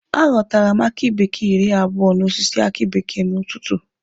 A ghọtara m aki bekee iri abụo n'osisi aki bekee n'ụtụtụ.